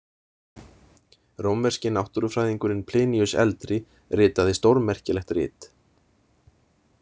Rómverski náttúrufræðingurinn Pliníus eldri ritaði stórmerkilegt rit.